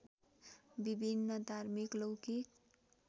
विभिन्न धार्मिक लौकिक